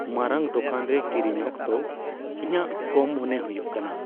ᱢᱟᱨᱟᱝ ᱫᱳᱠᱟᱱ ᱨᱮ ᱠᱤᱨᱤᱧ ᱚᱠᱛᱚ ᱤᱧᱟᱹᱜ ᱠᱚᱢ ᱢᱚᱱᱮ ᱦᱩᱭᱩᱜ ᱠᱟᱱᱟ ᱾